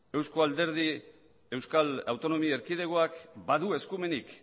euskal autonomi erkidegoak badu eskumenik